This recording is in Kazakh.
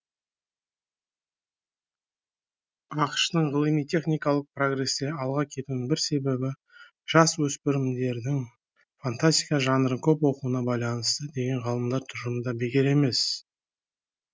ақш тың ғылыми техникалық прогресте алға кетуінің бір себебі жасөспірімдердің фантастика жанрын көп оқуына байланысты деген ғалымдар тұжырымы да бекер емес